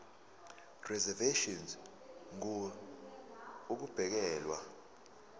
reservation ngur ukubekelwa